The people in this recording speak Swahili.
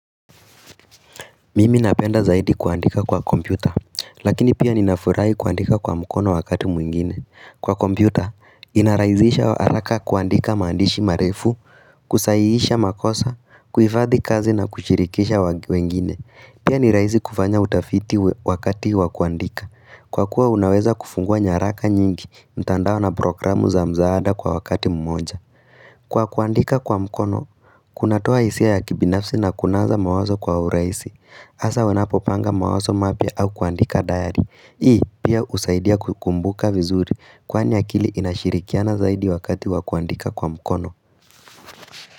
Mimi napenda zaidi kuandika kwa kompyuta, lakini pia ninafurahi kuandika kwa mkono wakati mwingine. Kwa kompyuta, inarahisisha haraka kuandika maandishi marefu, kusaihisha makosa, kuhifadhi kazi na kushirikisha wengine. Pia ni rahisi kufanya utafiti wakati wa kuandika. Kwa kuwa unaweza kufungua nyaraka nyingi, mtandao na programu za mzaada kwa wakati mmoja. Kwa kuandika kwa mkono, kunatoa hisia ya kibinafsi na kunasa mawazo kwa urahisi. Hasa wanapopanga mawazo mapya au kuandika dayari. Hii pia husaidia kukumbuka vizuri kwani akili inashirikiana zaidi wakati wa kuandika kwa mkono.